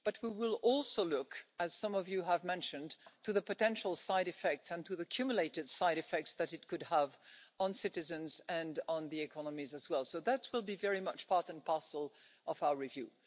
But we will also look, as some of you have mentioned, to the potential side effects and to the accumulated side effects that it could have on citizens and on the economies as well. So that will be very much part and parcel of our review.